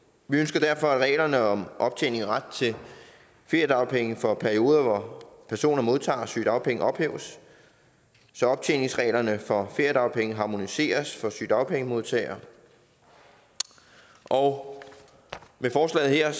vi ønsker derfor at reglerne om optjening af ret til feriedagpenge for perioder hvor personer modtager sygedagpenge ophæves så optjeningsreglerne for feriedagpenge harmoniseres for sygedagpengemodtagere og med forslaget her